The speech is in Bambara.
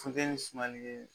Funtɛni sumali ye